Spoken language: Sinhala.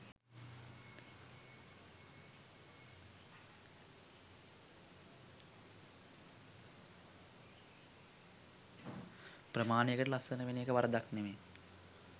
ප්‍රමාණයකට ලස්සන වෙනඑක වරදක් නෙමෙයි